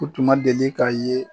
U tuma deli k'a ye